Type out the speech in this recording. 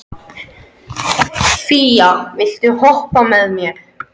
Fía, viltu hoppa með mér?